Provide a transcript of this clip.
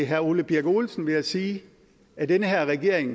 herre ole birk olesen vil jeg sige at den her regering